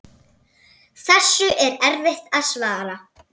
Þessu er erfitt að svara.